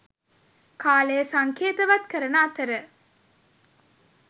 කාලය සංකේතවත් කරන අතර